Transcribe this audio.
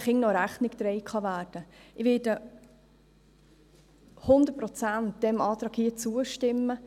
Ich werde diesem Antrag zu 100 Prozent zustimmen.